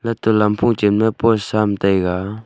hatoh lampho chen ma potsa am taiga.